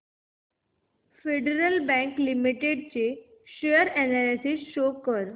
federal bank limited share analysis show कर